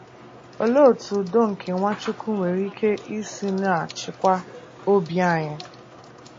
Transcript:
Olee Otú Udo Nke Nwachukwu mwere ike um Isi um Na - achịkwa Obi Anyị?